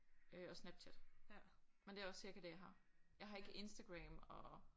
Øh og Snapchat men det er også cirka det jeg har. Jeg har ikke Instagram og